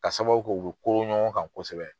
K'a sababu k'u bɛ kooron ɲɔgɔn kan kosɛbɛ.